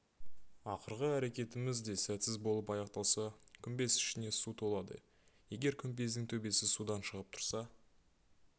ақырғы әрекетіміз де сәтсіз болып аяқталса күмбез ішіне су толады егер күмбездің төбесі судан шығып тұрса